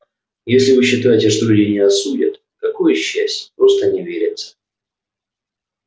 если вы считаете что люди не осудят какое счастье просто не верится